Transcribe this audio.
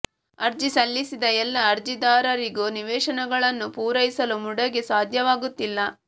ಅರ್ಜಿ ಸಲ್ಲಿಸಿದ ಎಲ್ಲ ಅರ್ಜಿದಾರರಿಗೂ ನಿವೇಶನಗಳನ್ನು ಪೂರೈಸಲು ಮುಡಾಗೆ ಸಾಧ್ಯವಾ ಗುತ್ತಿಲ್ಲ